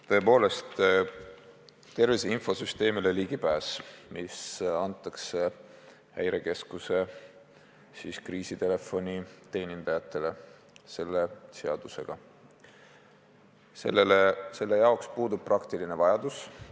Tõepoolest, ligipääsuks tervise infosüsteemile, mis nüüd Häirekeskuse kriisitelefoni teenindajatele selle seadusega antakse, puudub praktiline vajadus.